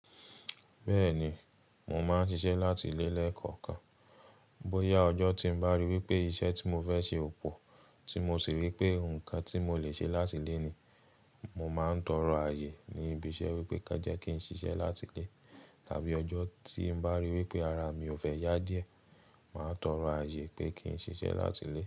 Bẹ́ẹ̀ni, mo máa ń ṣiṣẹ́ láti ilé lẹ́ẹ̀kọ̀kan. Bóyá ọjọ́ tí ń bá rí wípé iṣẹ́ tí mo fẹ́ ṣe ò pọ̀ tí mo sì rí pé nǹkan tí mo lè ṣe látile ni, mo máa ń tọrọ ààyè ní ibi iṣẹ́ wípé kán jẹ kí n ṣiṣẹ́ láti lé tàbí ọjọ́ tí ń bá rí wípé ara mi ò fẹ́ yá díẹ̀, màá tọrọ ààyè pé kí n ṣiṣẹ́ láti lé.